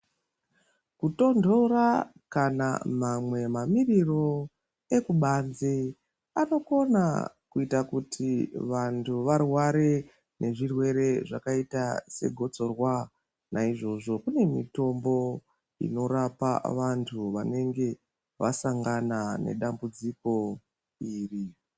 Kutondora kana mamwe mamiriro ekubanze anokona kuita kuti vanthu varware nezvirwere zvakadai negotsorwa naizvozvo kune mitombo inorapa vanthu vanenge vasangana nedambudziko iri.